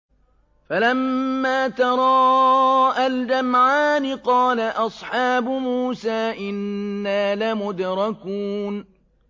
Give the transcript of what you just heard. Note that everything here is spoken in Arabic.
فَلَمَّا تَرَاءَى الْجَمْعَانِ قَالَ أَصْحَابُ مُوسَىٰ إِنَّا لَمُدْرَكُونَ